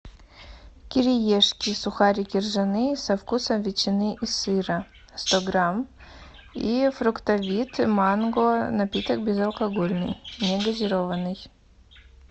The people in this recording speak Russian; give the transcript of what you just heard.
кириешки сухарики ржаные со вкусом ветчины и сыра сто грамм и фруктовит манго напиток безалкогольный негазированный